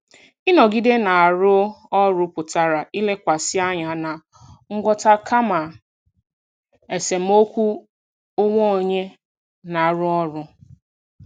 Ịnọgide na-arụ ọrụ pụtara ilekwasị anya na ngwọta kama esemokwu onwe onye na-arụ ọrụ.